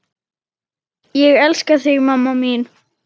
Ég elska þig mamma mín.